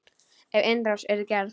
Ef innrás yrði gerð?